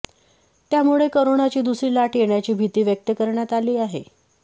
त्यामुळे करोनाची दुसरी लाट येण्याची भीती व्यक्त करण्यात आली आहे